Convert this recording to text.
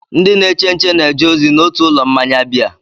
Ndị na-eche nche na-eje ozi n'otu ụlọ mmanya biya.